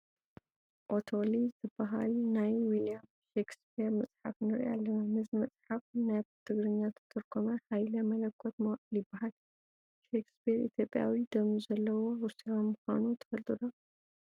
ኦቶሊ ዝበሃል ናይ ዊልያም ሸክስፒር መፅሓፍ ንርኢ ኣለና፡፡ ነዚ መፅሓፍ ናብ ትግርኛ ዝተርጐሞ ሃይለ መለኮት መዋዕል ይበሃል፡፡ ሸክስፒር ኢትዮጵያዊ ደም ዘለዎ ሩስያዊ ምዃኑ ትፈልጡ ዶ?